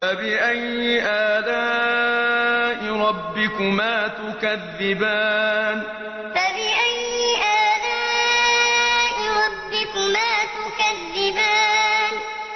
فَبِأَيِّ آلَاءِ رَبِّكُمَا تُكَذِّبَانِ فَبِأَيِّ آلَاءِ رَبِّكُمَا تُكَذِّبَانِ